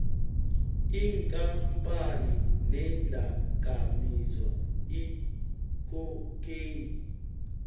iinkampani neendakamizwa icocane